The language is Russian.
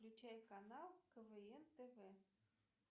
включай канал квн тв